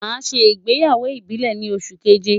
Màá ṣe ìgbéyàwó ìbílẹ̀ ni oṣù keje.